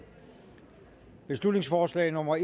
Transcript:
beslutningsforslag nummer